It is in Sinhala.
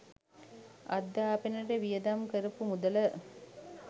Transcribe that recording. අධ්‍යාපනයට වියදම් කරපු මුදල